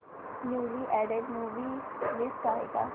newly added movie list आहे का